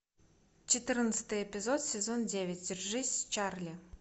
четырнадцатый эпизод сезон девять держись чарли